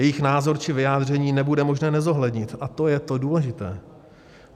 Jejich názor či vyjádření nebude možné nezohlednit a to je to důležité.